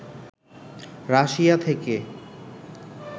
Russia থেকে